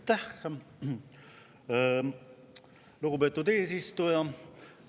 Aitäh, lugupeetud eesistuja!